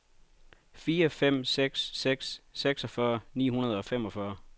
fire fem seks seks seksogfyrre ni hundrede og femogfyrre